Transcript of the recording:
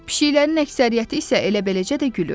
Pişiklərin əksəriyyəti isə elə beləcə də gülür.